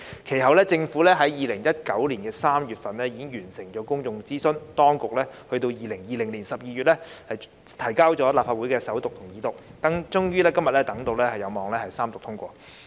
其後，政府於2019年3月完成公眾諮詢，並於2020年12月將《條例草案》提交立法會進行首讀和二讀，等到今天終於有望三讀通過。